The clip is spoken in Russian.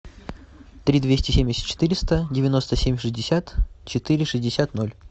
три двести семьдесят четыреста девяносто семь шестьдесят четыре шестьдесят ноль